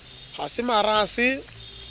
ha se mara ha se